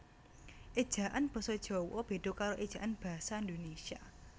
Ejaan Basa Jawa beda karo ejaan basa Indonesia